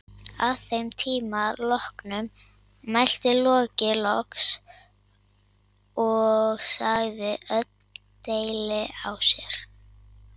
Að þeim tíma loknum mælti Loki loks og sagði öll deili á sér.